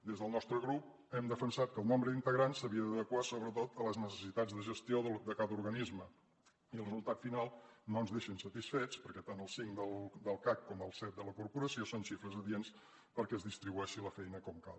des del nostre grup hem defensat que el nombre d’integrants s’havia d’adequar sobretot a les necessitats de gestió de cada organisme i el resultat final no ens deixa insatisfets perquè tant els cinc del cac com els set de la corporació són xifres adients perquè es distribueixi la feina com cal